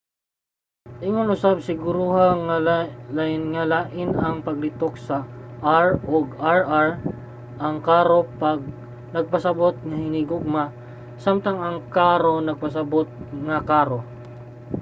ingon usab siguruha nga lain ang paglitok sa r ug rr: ang caro nagpasabut nga hinihugma samtang ang carro nagpasabut nga karo